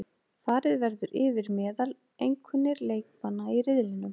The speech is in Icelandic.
Farið verður yfir meðaleinkunnir leikmanna í riðlinum,